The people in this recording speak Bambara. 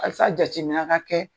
jatmina ka kɛ.